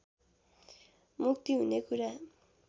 मुक्तिहुने कुरा